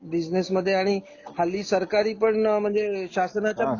business मध्ये आणि हल्ली सरकारी पण म्हणजे शासनाच्या